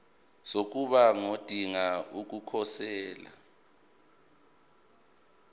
sokuba ngodinga ukukhosela